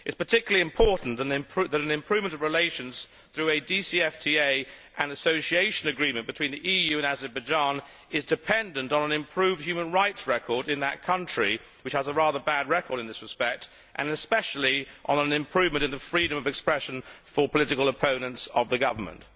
It is particularly important that an improvement of relations through a DCFTA and an Association Agreement between the EU and Azerbaijan are dependent upon an improved human rights record in that country which has a rather bad record in this respect and especially on an improvement in the freedom of expression for political opponents of the government.